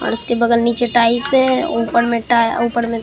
और उसके बगल नीचे टाइस है ऊपर में टा ऊपर में --